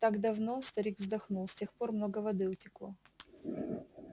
так давно старик вздохнул с тех пор много воды утекло